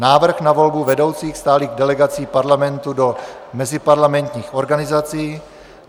Návrh na volbu vedoucích stálých delegací Parlamentu do meziparlamentních organizací;